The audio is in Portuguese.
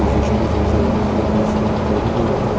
Nesses últimos onze anos, o meu sustento todo veio da banda.